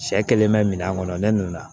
Sɛ kelen bɛ min kɔnɔ ne nana